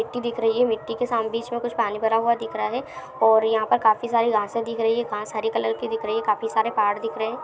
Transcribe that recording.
मिट्टी दिख रही है। मिट्टी के साम बीच में कुछ पानी भरा हुआ दिख रहा है। और यहाँ पर काफी सारी घासे दिख रही है। घास हरे कलर की दिख रही है। काफी सारे पहाड़ दिख रहे हैं।